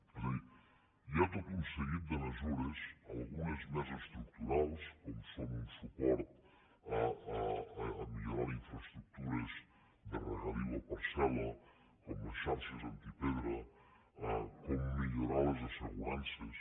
és a dir hi ha tot un seguit de mesures algunes més estructurals com són un suport a millorar les infraestructures de regadiu a parcel·la com les xarxes antipedra com millorar les assegurances